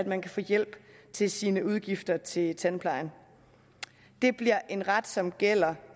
man kan få hjælp til sine udgifter til tandplejen det bliver en ret som gælder